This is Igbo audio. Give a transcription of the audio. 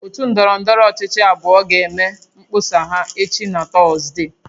Otu ndọrọndọrọ ọchịchị abụọ ga-eme mkpọsa ha echi na Tọzdee